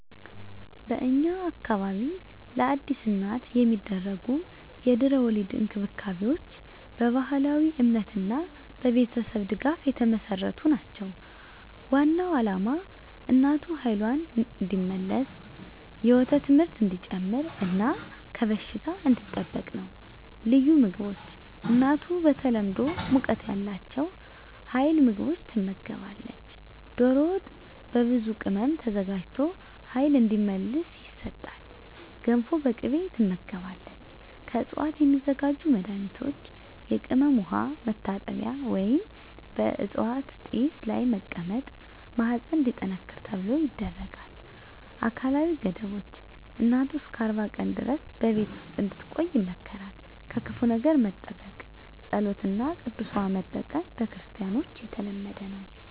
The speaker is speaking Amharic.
በእኛ አካባቢ ለአዲስ እናት የሚደረጉ የድህረ-ወሊድ እንክብካቤዎች በባህላዊ እምነትና በቤተሰብ ድጋፍ የተመሠረቱ ናቸው። ዋናው ዓላማ እናቱ ኃይልዋን እንዲመልስ፣ የወተት ምርት እንዲጨምር እና ከበሽታ እንዲጠበቅ ነው። ልዩ ምግቦች እናቱ በተለምዶ ሙቀት ያላቸው ኃይል ምግቦች ትመገባለች። ዶሮ ወጥ በብዙ ቅመም ተዘጋጅቶ ኃይል እንዲመልስ ይሰጣል። ገንፎ በቅቤ ትመገባለች። ከዕፅዋት የሚዘጋጁ መድኃኒቶች የቅመም ውሃ መታጠቢያ ወይም በዕፅዋት ጢስ ላይ መቀመጥ ማህፀን እንዲጠነክር ተብሎ ይደረጋል። አካላዊ ገደቦች እናቱ እስከ 40 ቀን ድረስ በቤት ውስጥ እንድትቆይ ይመከራል። ከክፉ ነገር መጠበቅ ጸሎት እና ቅዱስ ውሃ መጠቀም በክርስቲያኖች የተለመደ ነው።